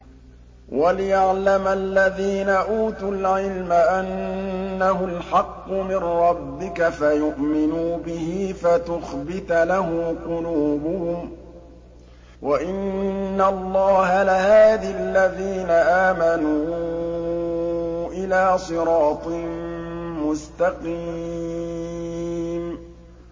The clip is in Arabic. وَلِيَعْلَمَ الَّذِينَ أُوتُوا الْعِلْمَ أَنَّهُ الْحَقُّ مِن رَّبِّكَ فَيُؤْمِنُوا بِهِ فَتُخْبِتَ لَهُ قُلُوبُهُمْ ۗ وَإِنَّ اللَّهَ لَهَادِ الَّذِينَ آمَنُوا إِلَىٰ صِرَاطٍ مُّسْتَقِيمٍ